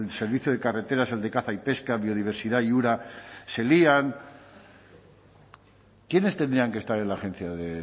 servicio de carreteras el de caza y pesca biodiversidad y ura se lían quiénes tendrían que estar en la agencia de